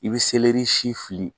I bi si fili